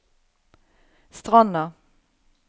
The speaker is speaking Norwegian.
Stranda